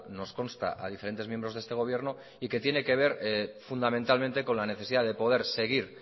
nos consta a diferentes miembros de este gobierno y que tiene que ver fundamentalmente con la necesidad de poder seguir